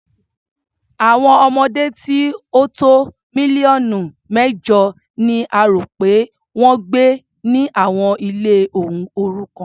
Àwọn ọmọdé tí ó tó mílíọ̀nù mẹ́jọ ni a rò pé wọ́n ń gbé ni àwọn ilé òrukàn.